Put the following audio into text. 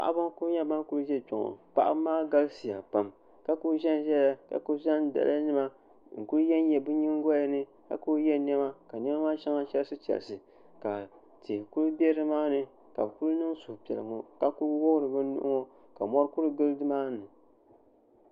paɣ' ba n kuli nyɛ ban kuli ʒɛ kpɛŋɔ paɣ' ba maa galisiya pam ka kill ʒɛn ʒɛya ka kuli zan daliyanima kuli yanyai be nyɛgiyani ka kuli yɛ nɛma ka nɛmaa shɛŋa chirisichirisi ka tihi kuli bɛ nimaani ka be kuli niŋ suhipiɛlli n wuɣ' be nuhiŋɔ ka mori kuli gili ni maani